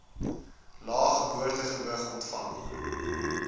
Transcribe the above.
lae geboortegewig ontvang